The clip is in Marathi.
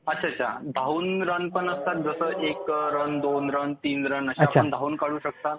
धावून रन पण असतात जसे एक रन दोन रन तीन रन असे आपण धावून काढू शकतो